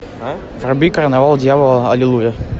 вруби карнавал дьявола аллилуйя